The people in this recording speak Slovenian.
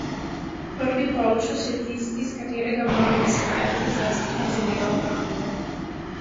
Prvi polčas je tisti, iz katerega moramo izhajati, zlasti kar zadeva obrambo.